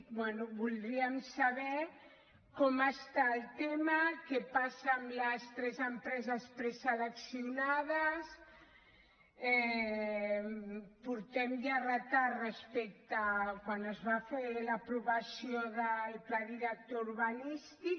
bé voldríem saber com està el tema què passa amb les tres empreses preseleccionades portem ja retard respecte a quan es va fer l’aprovació del pla director urbanístic